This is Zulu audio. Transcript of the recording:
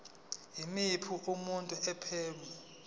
yimuphi umuntu owephula